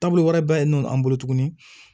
Taabolo wɛrɛ bɛ yen nɔ an bolo tuguni